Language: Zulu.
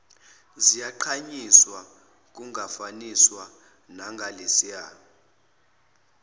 ziyagqanyiswa kungafaniswa nangalesiya